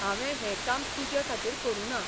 हांवें हें काम तुजे खातीर करूं ना.